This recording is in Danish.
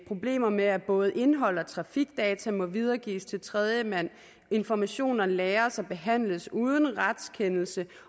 problemer med at både indhold og trafikdata må videregives til tredjemand informationer lagres og behandles uden retskendelse